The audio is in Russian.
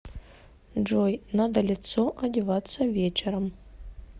джой надо лицо одеваться вечером